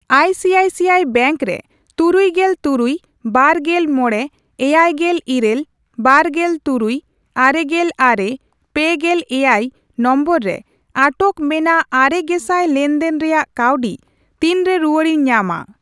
ICICI bank ᱨᱮ ᱛᱩᱨᱩᱭᱜᱮᱞ ᱛᱩᱨᱩᱭ, ᱵᱟᱨᱜᱮᱞ ᱢᱚᱲᱮ, ᱮᱭᱟᱭᱜᱮᱞ ᱤᱨᱟᱹᱞ, ᱵᱟᱨᱜᱮᱞ ᱛᱩᱨᱩᱭ, ᱟᱨᱮᱜᱮᱞ ᱟᱨᱮ, ᱯᱮᱜᱮᱞ ᱮᱭᱟᱭ ᱱᱚᱢᱵᱚᱨ ᱨᱮ ᱟᱴᱚᱠ ᱢᱮᱱᱟᱜ ᱟᱨᱮ ᱜᱮᱥᱟᱭ ᱞᱮᱱᱫᱮᱱ ᱨᱮᱭᱟᱜ ᱠᱟᱹᱣᱰᱤ ᱛᱤᱱᱨᱮ ᱨᱩᱣᱟᱹᱲᱤᱧ ᱧᱟᱢᱟ ?